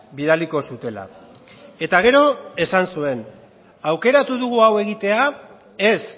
bidaliko zutela eta gero esan zuen aukeratu dugu hau egitea ez